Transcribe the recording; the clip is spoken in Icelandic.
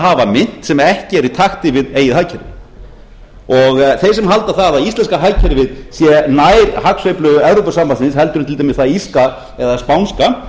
hafa mynt sem ekki er í takti við eigið hagkerfi þeir sem halda að íslenska hagkerfið sé nær hagsveiflu evrópusambandsins en til dæmis það írska eða spænska